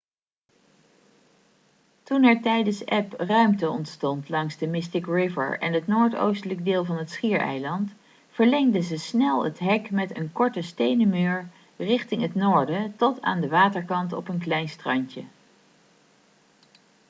toen er tijdens eb ruimte ontstond langs de mystic river en het noordoostelijke deel van het schiereiland verlengden ze snel het hek met een korte stenen muur richting het noorden tot aan de waterkant op een klein strandje